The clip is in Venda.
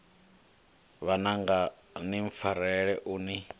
vhananga ni mpfarele u ni